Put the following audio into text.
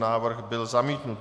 Návrh byl zamítnut.